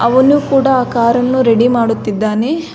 ಅವನು ಕೂಡ ಆ ಕಾರನ್ನು ರೆಡಿ ಮಾಡುತ್ತಿದ್ದಾನೆ.